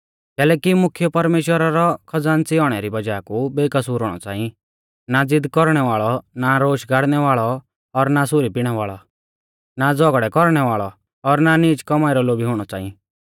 कैलैकि मुख्यौ परमेश्‍वरा रौ खज़ान्च़ी औणै री वज़ाह कु बेकसूर हुणौ च़ांई ना ज़िद कौरणै वाल़ौ ना रोश गाड़नै वाल़ौ और ना सुरी पिणै वाल़ौ ना झ़ौगड़ै कौरणै वाल़ौ और ना नीच कौमाई रौ लोभी हुणौ च़ांई